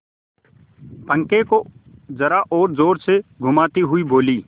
पंखे को जरा और जोर से घुमाती हुई बोली